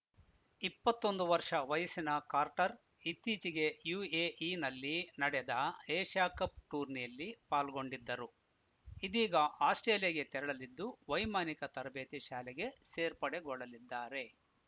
ಇಪ್ಪತ್ತ್ ಒಂದು ವರ್ಷ ವಯಸ್ಸಿನ ಕಾರ್ಟರ್‌ ಇತ್ತೀಚೆಗೆ ಯುಎಇನಲ್ಲಿ ನಡೆದ ಏಷ್ಯಾಕಪ್‌ ಟೂರ್ನಿಯಲ್ಲಿ ಪಾಲ್ಗೊಂಡಿದ್ದರು ಇದೀಗ ಆಸ್ಪ್ರೇಲಿಯಾಗೆ ತೆರಳಲಿದ್ದು ವೈಮಾನಿಕ ತರಬೇತಿ ಶಾಲೆಗೆ ಸೇರ್ಪಡೆಗೊಳ್ಳಲಿದ್ದಾರೆ